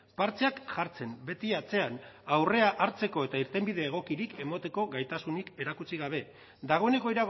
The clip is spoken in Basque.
partxeak jartzen beti atzean aurrea hartzeko eta irtenbide egokirik emoteko gaitasunik erakutsi gabe dagoeneko